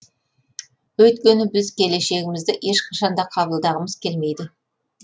өйткені біз келешегімізді ешқашанда қабылдағымыз келмейді